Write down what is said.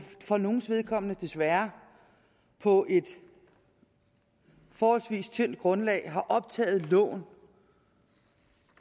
for nogles vedkommende desværre på et forholdsvis tyndt grundlag har optaget lån